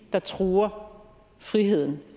der truer friheden